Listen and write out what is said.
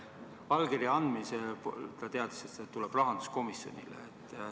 Allkirja andes minister teadis, et see tuleb rahanduskomisjonile.